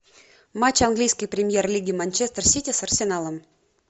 матч английской премьер лиги манчестер сити с арсеналом